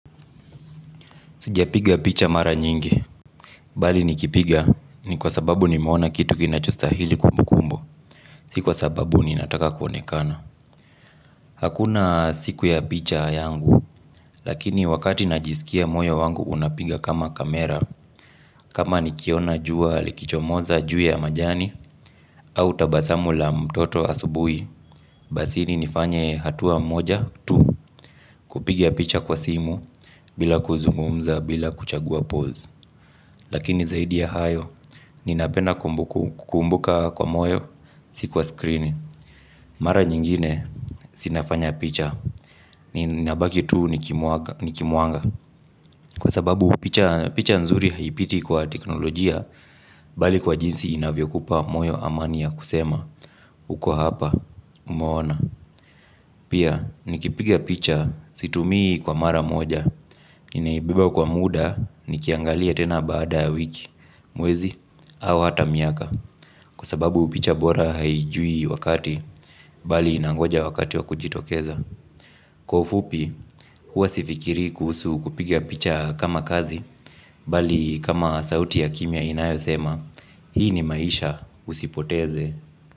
Sijapiga picha mara nyingi. Bali nikipiga ni kwa sababu nimeona kitu kinachostahili kumbukumbu. Si kwa sababu ninataka kuonekana. Hakuna siku ya picha yangu. Lakini wakati najiskia moyo wangu unapiga kama kamera. Kama nikiona jua likichomoza juu ya majani au tabasamu la mtoto asubuhi. Basini nifanye hatua moja tu. Kupiga picha kwa simu bila kuzungumza bila kuchagua pose. Lakini zaidi ya hayo. Ninapenda kukumbuka kwa moyo si kwa skrini. Mara nyingine si nafanya picha. Ninabaki tu nikimuaga. Kwa sababu picha nzuri haipiti kwa teknolojia. Bali kwa jinsi inavyokupa moyo amani ya kusema. Uko hapa umeona. Pia nikipiga picha situmii kwa mara moja. Ninaibeba kwa muda nikiangalia tena baada ya wiki mwezi au hata miaka. Kwa sababu picha bora haijui wakati. Bali inangoja wakati wa kujitokeza. Kwa ufupi, huwa sifikiri kuhusu kupiga picha kama kazi. Bali kama sauti ya kimya inayosema. Hii ni maisha usipoteze.